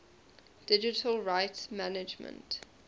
digital rights management